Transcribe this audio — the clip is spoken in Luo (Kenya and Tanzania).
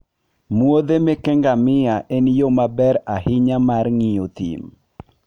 muodhe meke ngamia en yo maber ahinya mar ng'iyo thim.